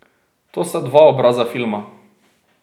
To sta dva obraza filma.